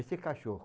Esse é cachorro.